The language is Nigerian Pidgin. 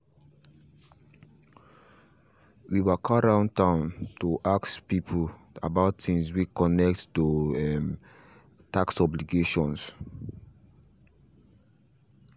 we waka round the town to ask people about things way connect to um tax obligations